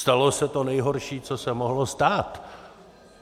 Stalo se to nejhorší, co se mohlo stát.